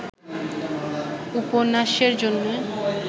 উপন্যাসের জন্যে